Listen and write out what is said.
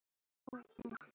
Engin lækning er til.